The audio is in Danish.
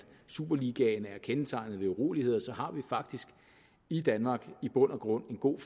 superligaen er kendetegnet ved uroligheder så har vi faktisk i danmark i bund og grund en god